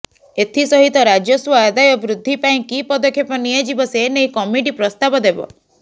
ଏଥିସହିତ ରାଜସ୍ବ ଆଦାୟ ବୃଦ୍ଧି ପାଇଁ କି ପଦକ୍ଷେପ ନିଆଯିବ ସେ ନେଇ କମିଟି ପ୍ରସ୍ତାବ ଦେବ